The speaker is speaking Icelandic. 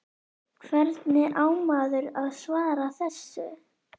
Einhvern veginn skrimtum við og ég prjónaði og seldi ein